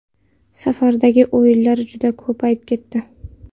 Safardagi o‘yinlar juda ko‘payib ketdi.